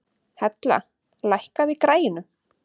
Hella, lækkaðu í græjunum.